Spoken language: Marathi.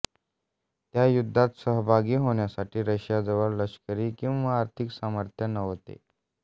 त्या युद्धात सहभागी होण्यासाठी रशियाजवळ लष्करी किंवा आर्थिक सामर्थ्य नव्हते